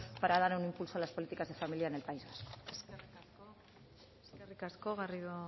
para dar un impulso a las políticas de familia en el país vasco eskerrik asko garrido